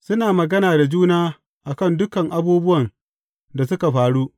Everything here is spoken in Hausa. Suna magana da juna a kan dukan abubuwan da suka faru.